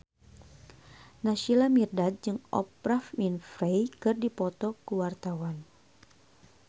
Naysila Mirdad jeung Oprah Winfrey keur dipoto ku wartawan